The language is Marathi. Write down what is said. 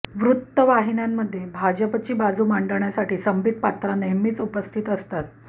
वृत्तवाहिन्यांमध्ये भाजपची बाजू मांडण्यासाठी संबित पात्रा नेहमीच उपस्थित असतात